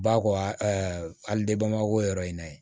Ba kɔ ɛɛ hali yɔrɔ in na